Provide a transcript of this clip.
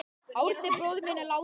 Árni bróðir minn er látinn.